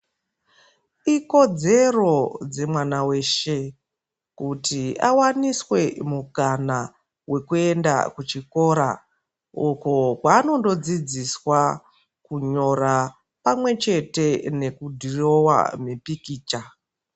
Ikodzero dzemwana weshe kuti awaniswe mukana wekuenda kuchikora uko kwanondo dzidziswa kunyora pamwe chete nekudhirowa mipikicha